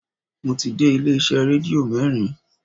Mo ti dé ilé iṣẹ́ rédíò mẹ́rin